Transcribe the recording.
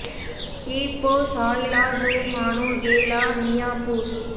ஈ போ சாய் லா சூ மானோ எ லா மியா பூஸ்